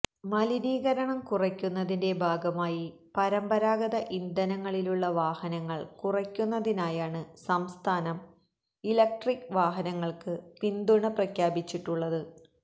മലിനീകരണം കുറയ്ക്കുന്നതിന്റെ ഭാഗമായി പരമ്പ രാഗത ഇന്ധനങ്ങളിലുള്ള വാഹനങ്ങൾ കുറയ്ക്കുന്നതിനായാണ് സംസ്ഥാനം ഇലക്ട്രിക് വാഹന ങ്ങൾക്ക് പിന്തുണ പ്രഖ്യാപിച്ചിട്ടുള്ളത്